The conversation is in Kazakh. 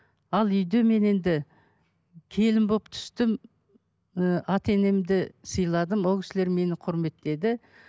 ал үйде мен енді келін болып түстім ііі ата енемді сыйладым ол кісілер мені құрметтеді